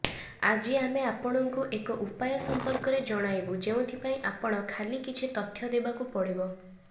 ଆଜି ଆମେ ଆପଣଙ୍କୁ ଏକ ଉପାୟ ସଂପର୍କରେ ଜଣାଇବୁ ଯେଉଁଥିପାଇଁ ଆପଣ ଖାଲି କିଛି ତଥ୍ୟ ଦେବାକୁ ପଡିବ